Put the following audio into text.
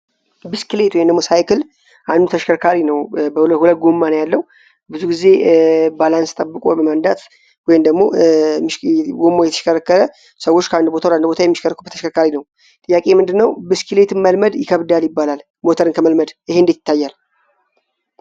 ብስክሌት ወይንም ሳይክል አንዱ ተሽከርካሪ ነው። 2 ጎማ ነው ያለው። ብዙ ጊዜ ባላንስ ጠብቆ በመንዳት ወይም ደግሞ ጎማው እየተሽከረከረ የተሽከ ሰዎች ከአንድ ቦታ ተሽከርካሪ ነው። ጥያቄ ምንድነው ብስክሌትን መልመድ ይከብዳል ይባላል ሞተርን ከመልመድ ይሄ እንደት ይታያል?